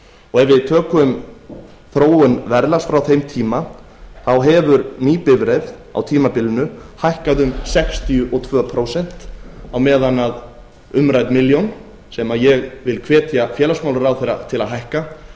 og ef við tökum þróun verðlags frá þeim tíma þá hefur ný bifreið á tímabilinu hækkað um sextíu og tvö prósent á meðan að umrædd milljón sem ég vil hvetja félagsmálaráðherra til að hækka